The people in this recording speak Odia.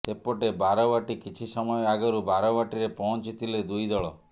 ସେପଟେ ବାରବାଟୀ କିଛି ସମୟ ଆଗରୁ ବାରବାଟୀରେ ପହଞ୍ଚିଥିଲେ ଦୁଇ ଦଳ